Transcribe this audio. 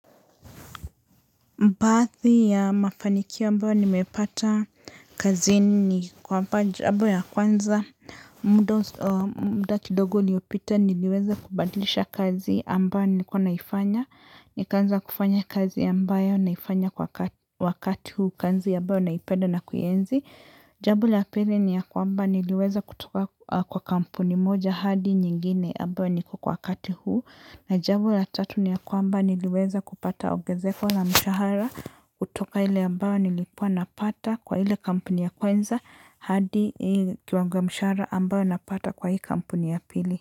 Baadhi ya mafanikio ambayo nimepata kazini ni kwamba jambo ya kwanza mda kidogo uliopita niliweza kubadilisha kazi ambayo nilikuwa naifanya. Nikaanza kufanya kazi ambayo naifanya kwa wakati huu kazi ambayo naipenda na kuienzi. Jambo la pili ni ya kwamba niliweza kutoka kwa kampuni moja hadi nyingine ambayo niko kwa wakati huu. Na jambo la tatu ni ya kwamba niliweza kupata ongezeko la mshahara kutoka ile ambayo nilikuwa napata kwa ile kampuni ya kwanza hadi hii kiwango wa mshahara ambayo napata kwa hii kampuni ya pili.